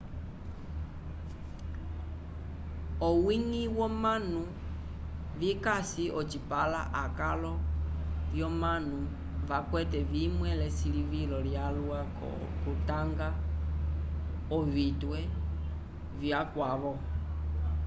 owiñgi womanu vikasi ocipãla akalo vyomanu vakwete vimwe l'esilivilo lyalwa k'okutanga ovitwe vyakavo